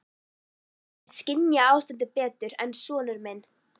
Hún virtist skynja ástandið betur en sonur minn.